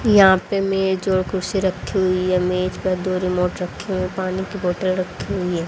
यहां पे मेज और कुर्सी रखी हुई है मेज पर दो रिमोट रखे हैं पानी की बोतल रखी हुई है।